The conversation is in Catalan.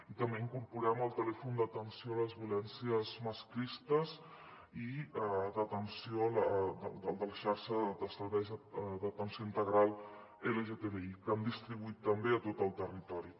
i també incorporem el telèfon d’atenció a les violències masclistes i de la xarxa de serveis d’atenció integral lgtbi que hem distribuït també a tot el territori